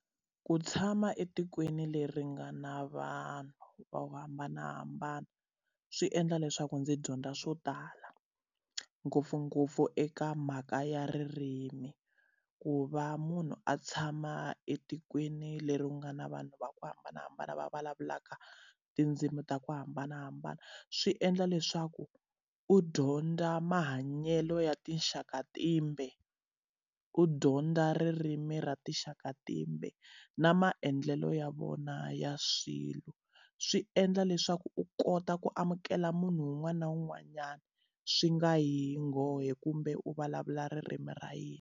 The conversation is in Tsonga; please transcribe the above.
Ku tshama etikweni leri nga na vanhu vo hambanahambana swi endla leswaku ndzi dyondza swo tala, ngopfungopfu eka mhaka ya ririmi. Ku va munhu a tshama etikweni leri u nga na vanhu va ku hambanahambana va vulavulaka tindzimi ta ku hambanahambana, swi endla leswaku u dyondza mahanyelo ya tinxaka timbe, u dyondza ririmi ra tinxaka timbe, na maendlelo ya vona ya swilo. Swi endla leswaku u kota ku amukela munhu un'wana na un'wanyana swi nga yi hi nghohe kumbe u vulavula ririmi ra yena.